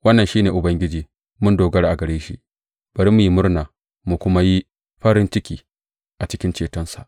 Wannan shi ne Ubangiji, mun dogara a gare shi; bari mu yi murna mu kuma yi farin ciki a cikin cetonsa.